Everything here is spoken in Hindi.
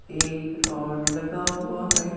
एक रॉड लगा हुआ है।